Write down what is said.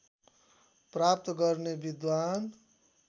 प्राप्त गर्ने विद्वान